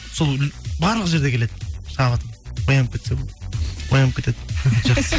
сол барлық жерде келеді шабыт оянып кетсе болды оянып кетеді жақсы